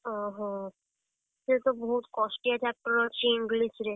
ଓହୋ, ସେ ତ ବହୁତ୍ କଷ୍ଟିଆ chapter ଅଛି English ରେ।